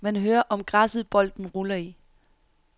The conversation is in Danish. Man hører om græsset bolden ruller i.